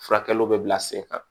Furakɛliw bɛ bila sen kan